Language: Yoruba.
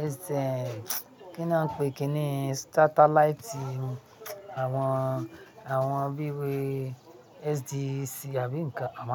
ẹ́sì ẹ́n, kí ni wọ́n ń pe kí ni satellite àwọn, àwọn bí i wé SDC àbí nǹkan, a máa ń.